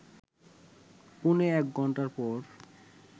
পৌনে এক ঘণ্টা পর